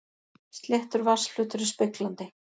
Sléttur vatnsflötur er speglandi.